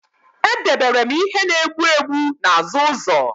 Edebere m ihe na-egbu egbu n'azụ ụzọ